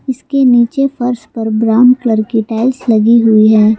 इसके नीचे फर्श पर ब्राउन कलर की टाइल्स लगी हुई है।